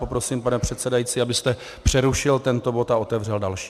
Poprosím, pane předsedající, abyste přerušil tento bod a otevřel další.